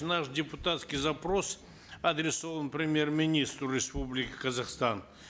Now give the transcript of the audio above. наш депутатский запрос адресован премьер министру республики казахстан